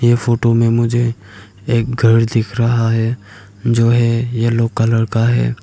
ये फोटो में मुझे एक घर दिख रहा है जो है एलो कलर का है।